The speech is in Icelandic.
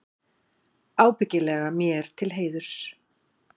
Ábyggilega mér til heiðurs.